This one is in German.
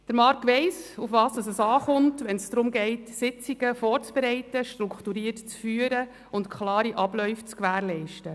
Marc Jost weiss, worauf es ankommt, wenn es darum geht, Sitzungen vorzubereiten, strukturiert zu führen und klare Abläufe zu gewährleisten.